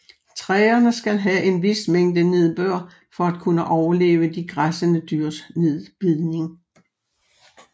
Træerne skal havde en vis mængde nedbør for at kunne overleve de græssende dyrs nedbidning